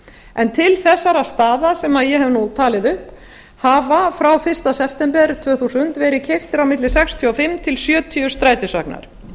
en til þessara staða sem ég hef nú talið upp hafa ár fyrsta september tvö þúsund verið keyptir milli sextíu og fimm til sjötíu